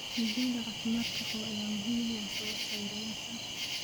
Digaagga caafimaadka qaba ayaa muhiim u ah soo saarayaasha.